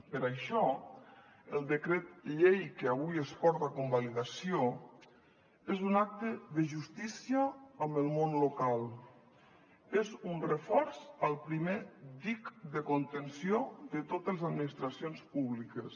per això el decret llei que avui es porta a convalidació és un acte de justícia amb el món local és un reforç al primer dic de contenció de totes les administracions públiques